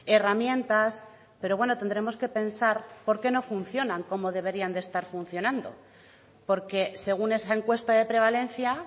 herramientas pero bueno tendremos que pensar por qué no funcionan como deberían de estar funcionando porque según esa encuesta de prevalencia